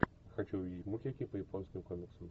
хочу увидеть мультики по японским комиксам